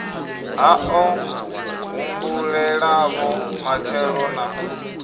ha o humbulelavho matshelo na